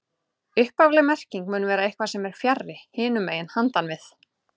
Upphafleg merking mun vera eitthvað sem er fjarri, hinum megin, handan við